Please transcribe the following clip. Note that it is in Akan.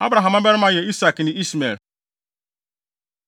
Abraham mmabarima yɛ Isak ne Ismael.